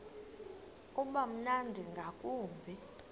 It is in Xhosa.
uba mnandi ngakumbi